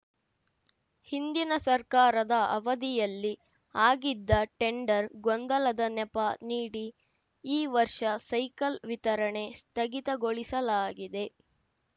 ಹಿಂದಿನ ಸರ್ಕಾರದ ಅವಧಿಯಲ್ಲಿ ಆಗಿದ್ದ ಟೆಂಡರ್‌ ಗೊಂದಲದ ನೆಪ ನೀಡಿ ಈ ವರ್ಷ ಸೈಕಲ್‌ ವಿತರಣೆ ಸ್ಥಗಿತಗೊಳಿಸಲಾಗಿದೆ